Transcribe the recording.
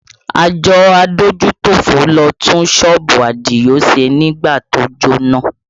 Àjọ adójútòfò ló tún sọ́ọ̀bù Adio ṣe nígbà tí ó jóná